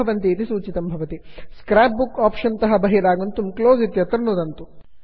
scrap book options scrapbook option संवादपेटिकातः बहिरागन्तुं close उपरि नुदन्तु